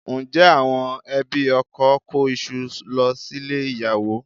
Ǹjẹ́ àwọn ẹbí ọkọ kó iṣu lọ sílé ìyàwó?